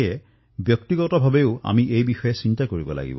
আমি ব্যক্তিগত পৰ্যায়তো এই বিষয়ে চিন্তা কৰিব লাগিব